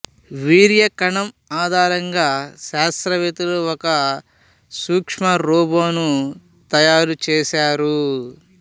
వీర్య కణం ఆధారంగా శాస్త్రవేత్తలు ఒక సూక్ష్మ రోబోను తయారుచేశారు